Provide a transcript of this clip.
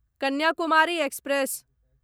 Kanyakumari express